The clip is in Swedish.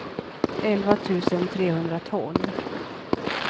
elva tusen trehundratolv